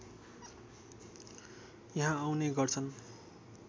यहाँ आउने गर्छन्